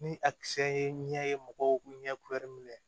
Ni a kisɛ ye mɔgɔw ɲɛ kulɛri